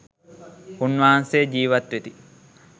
උන්වහන්සේ ජීවත් වෙති.